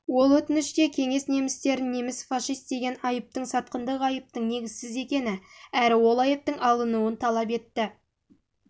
ол өтініште кеңес немістерін неміс фашист деген айыптың сатқындық айыптың негізсіз екені әрі ол айыптың алынуын талап етті